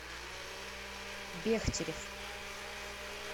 бехтерев